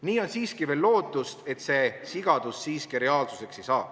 Nii on siiski veel lootust, et see sigadus reaalsuseks ei saa.